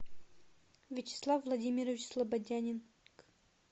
вячеслав владимирович слободянин